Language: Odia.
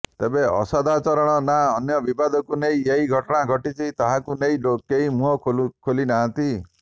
ତେବେ ଅସଦାଚରଣ ନା ଅନ୍ୟ ବିବାଦକୁ ନେଇ ଏହି ଘଟଣା ଘଟିଛି ତାହାକୁ ନେଇ କେହି ମୁହଁ ଖୋଲି ନାହାନ୍ତି